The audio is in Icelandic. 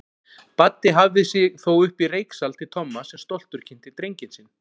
Baddi hafði sig þó uppí reyksal til Tomma sem stoltur kynnti drenginn sinn.